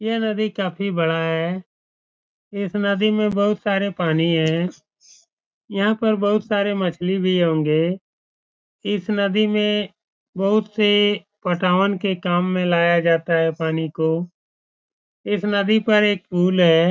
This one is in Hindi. यह नदी काफी बड़ा है। इस नदी में बहुत सारे पानी है। यहाँ पर बहुत सारे मछ्ली भी होंगे इस नदी में बहुत से पटावन के काम में लाया जाता है पानी को इस नदी पर एक पुल है।